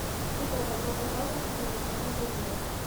кино добро пожаловать в рим покажи мне